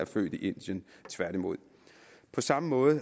født i indien tværtimod på samme måde